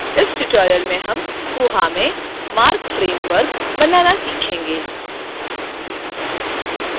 इस tutorial में हम koha में marc framework बनाना सीखेंगे